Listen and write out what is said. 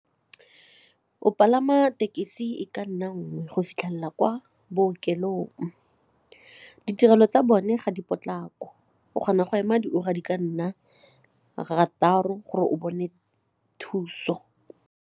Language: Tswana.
O palama tekesi e ka nna nngwe go fitlhelela kwa bookelong, ditirelo tsa bone ga di potlako, o kgona go ema diura di ka nna rataro gore o bone thuso.